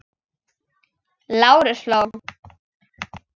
Lárus hló.